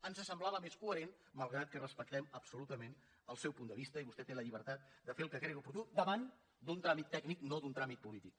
ens semblava més coherent malgrat que respectem absolutament el seu punt de vista i vostè té la llibertat de fer el que cregui oportú davant d’un tràmit tècnic no d’un tràmit polític